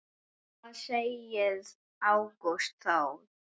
Hvað segir Ágúst Þór?